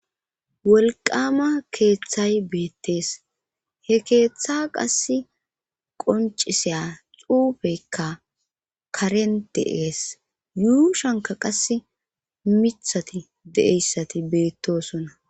Wolqama keeththay beettees he keeththa qas qonciseya xuufekka karen de'ees yuu shanka qas mithati deeyssati beettosona.